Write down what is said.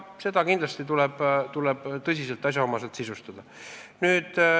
Seda tuleb kindlasti tõsiselt ja asjaomaselt sisustada.